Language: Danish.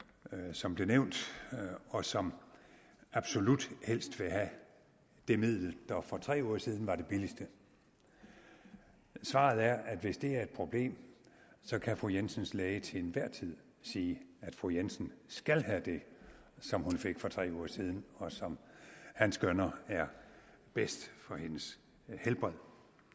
som blev nævnt og som absolut helst vil have det middel der for tre uger siden var det billigste svaret er at hvis det er et problem kan fru jensens læge til enhver tid sige at fru jensen skal have det som hun fik for tre uger siden og som han skønner er bedst for hendes helbred